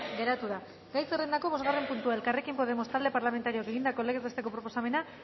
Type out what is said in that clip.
geratu da gai zerrendako bosgarren puntua elkarrekin podemos talde parlamentarioak egindako legez besteko proposamena